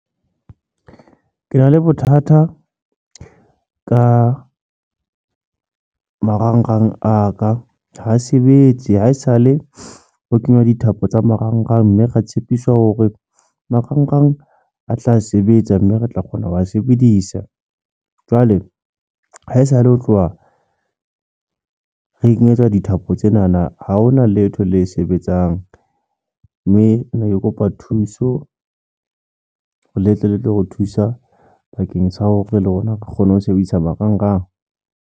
Ke na le bothata ka marangrang a ka ha sebetse haesale ho kenywa dithapo tsa marangrang, mme ra tshepiswa hore marangrang a tla sebetsa mme re tla kgona ho wa sebedisa jwale haesale ho tloha re kenyetswa dithapo tsena na. Ha hona letho le sebetsang mme ne ke kopa thuso ho letle le tlo re thusa bakeng sa hore le rona re kgone ho sebedisa marangrang.